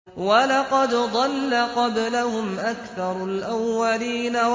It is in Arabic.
وَلَقَدْ ضَلَّ قَبْلَهُمْ أَكْثَرُ الْأَوَّلِينَ